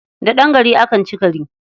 Da ɗan gari akan ci gari.